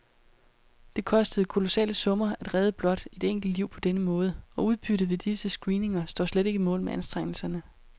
Det koster kolossale summer at redde blot et enkelt liv på denne måde, og udbyttet ved disse screeninger står slet ikke mål med anstrengelserne.